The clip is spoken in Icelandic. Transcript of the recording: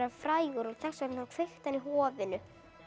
frægur og þess vegna kveikti hann í hofinu